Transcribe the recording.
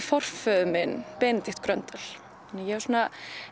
forföður minn Benedikt Gröndal ég